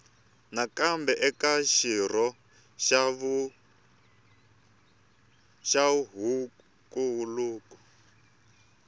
nakambe eka xirho xa huvonkulu